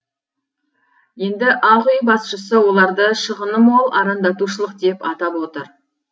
енді ақ үй басшысы оларды шығыны мол арандатушылық деп атап отыр